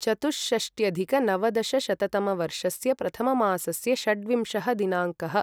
चतुष्षष्ट्यधिक नवदशशतमवर्षस्य प्रथममासस्य षड्विंशः दिनाङ्कः